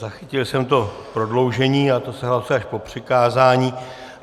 Zachytil jsem to prodloužení, ale to se hlasuje až po přikázání.